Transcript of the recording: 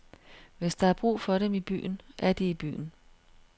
Hvis der er brug for dem i byen, er de i byen.